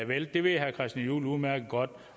vælte det ved herre christian juhl udmærket godt